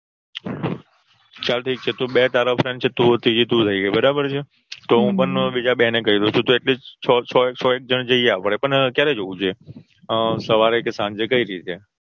ચાલ ઠીક છે બે તારા Friend થઇ ગયા ત્રીજી તું થઇ ગઈ બરાબર છે હું પણ બીજા બેને કઈ દઉં છું તો Atleast છ એક જન જઈએ આપણે પણ ક્યારે જવું છે હમ સવારે કે સાંજે કઈ રીતે